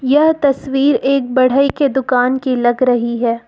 यह तस्वीर एक बढ़ई के दुकान की लग रही है।